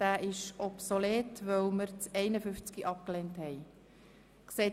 Jetzt kommen wir zum Antrag SVP/Guggisberg.